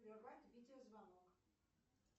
прервать видеозвонок